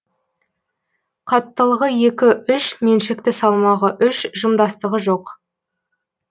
қаттылығы екі үш меншікті салмағы үш жымдастығы жоқ